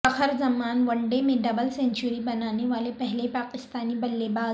فخر Zaman one day میں double century بنانے والے پہلے پاکستانی بلے باز